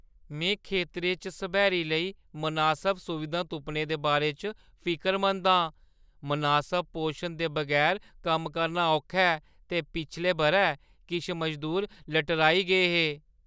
में खेतरें च सब्हैरी लेई मनासब सुविधां तुप्पने दे बारे च फिकरमंद आं। मनासब पोशन दे बगैर कम्म करना औखा ऐ, ते पिछले बʼरै किश मजूर लटराई गे हे।